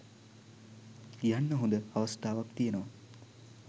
යන්න හොඳ අවස්ථාවක් තියෙනව